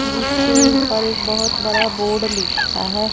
जिसके ऊपर एक बहोत बड़ा बोर्ड लिखा है।